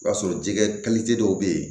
I b'a sɔrɔ jɛgɛ dɔw be yen